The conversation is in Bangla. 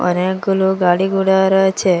অনেকগুলু গাড়ি ঘোড়া রয়েছে।